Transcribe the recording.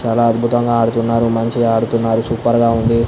చాలా అద్భుతంగా ఆడుతున్నారు. మంచిగా ఆడుతున్నారు. సూపర్ గా ఉంది.